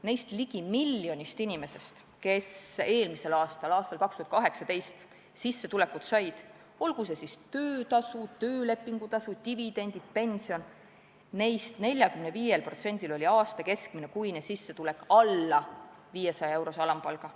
Neist ligi miljonist inimesest, kes eelmisel, 2018. aastal sissetulekut said – olgu see siis töötasu, töölepingutasu, dividendid või pension –, oli 45%-l aasta keskmine kuine sissetulek alla 500-eurose alampalga.